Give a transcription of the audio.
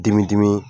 Dimidimi